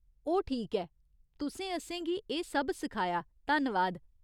ओह्, ठीक ऐ, तुसें असेंगी एह् सब्ब सिखाया, धन्नवाद।